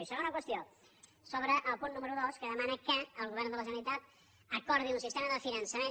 i segona qüestió sobre el punt número dos que demana que el govern de la generalitat acordi un sistema de fi·nançament